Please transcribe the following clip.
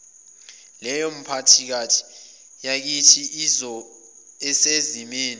leyomiphakathi yakithi esezimeni